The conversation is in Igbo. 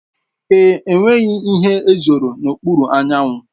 Èé, enweghị ihe zòro n'okpuru anyanwụ.